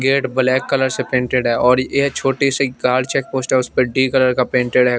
Gate black colour से painted है और ये छोटी सी कार चेक पोस्टर्स पे डी कलर का पेंटेड है।